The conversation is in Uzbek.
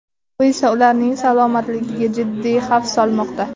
Bu esa ularning salomatligiga jiddiy xavf solmoqda.